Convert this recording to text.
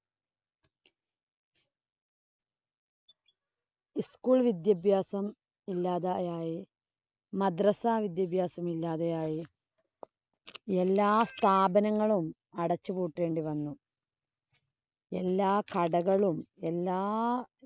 ഉ school വിദ്യാഭ്യാസം ഇല്ലാതെയായി. മദ്രസ വിദ്യാഭ്യാസം ഇല്ലാതെയായി. എല്ലാ സ്ഥാപന്മങ്ങളും അടച്ചു പൂട്ടേണ്ടി വന്നു. എല്ലാ കടകളും, എല്ലാ